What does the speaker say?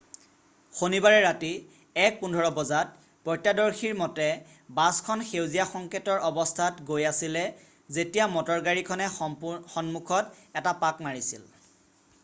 শনিবাৰে ৰাতি 1:15 বজাত প্ৰত্যৰ্শদৰ্শীৰ মতে বাছখন সেউজীয়া সংকেটৰ অৱস্থাত গৈ আছিলে যেতিয়া মটৰগাড়ী খনে সন্মুখত এটা পাক মাৰিছিল